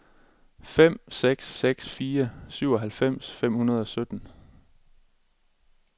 fem seks seks fire syvoghalvfems fem hundrede og sytten